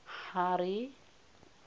harry